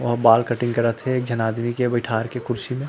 ओहा बाल कटिंग करत हे एक झन आदमी के बइठार के कुर्शी म।